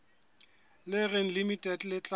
le reng limited le tla